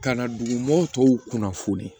Ka na dugu tɔw kunnafoni